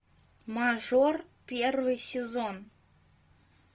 мажор первый сезон